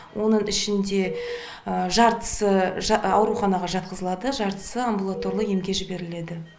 оның ішінде жартысы ауруханаға жатқызылады жартысы амбулаторлы емге жіберіледі